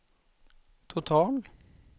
total